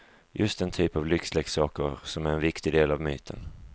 Just den typ av lyxleksaker som är en viktig del av myten.